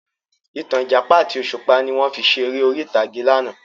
Ìtàn Ìjàpá àti òṣùpá ni wọn fi ṣe ère orí ìtàgé láánà